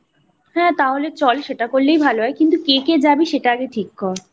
হ্যাঁ তাহলে চল সেটা করলেই ভালো হয় কিন্তু কে কে যাবি সেটা আগে ঠিক কর।